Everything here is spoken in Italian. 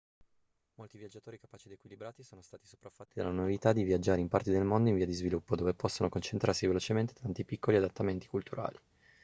molti viaggiatori capaci ed equilibrati sono stati sopraffatti dalla novità di viaggiare in parti del mondo in via di sviluppo dove possono concentrarsi velocemente tanti piccoli adattamenti culturali